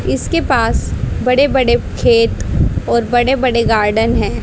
इसके पास बड़े बड़े खेत और बड़े बड़े गार्डन है।